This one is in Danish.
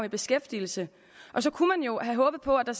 i beskæftigelse så kunne man jo have håbet på at der